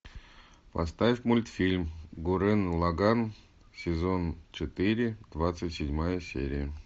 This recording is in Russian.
поставь мультфильм гуррен лаганн сезон четыре двадцать седьмая серия